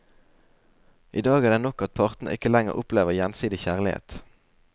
I dag er det nok at partene ikke lenger opplever gjensidig kjærlighet.